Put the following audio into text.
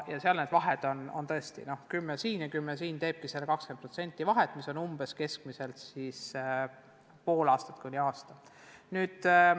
Seal see vahe on tõesti, 10% siin ja 10% seal, see teebki kokku selle 20% vahet, mis võrdub poole aasta kuni aasta pikkuse õpinguga.